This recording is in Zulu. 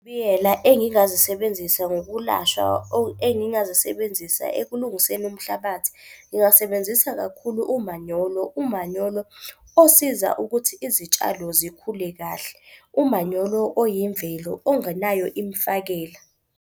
Engingazisebenzisa ngokulashwa engingazisebenzisa ekulungiseni umhlabathi. Ngingasebenzisa kakhulu umanyolo. Umanyolo osiza ukuthi izitshalo zikhule kahle, umanyolo oyimvelo ongenayo imfakela.